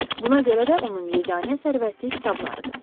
Buna görə də onun yeganə sərvəti kitablarıdır.